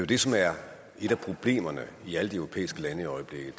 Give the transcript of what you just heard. det som er et af problemerne i alle de europæiske lande i øjeblikket